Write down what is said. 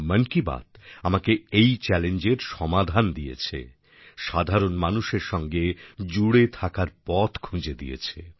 মন কি বাত আমাকে এই চ্যালেঞ্জের সমাধান দিয়েছে সাধারণ মানুষের সঙ্গে জুড়ে থাকার পথ খুঁজে দিয়েছে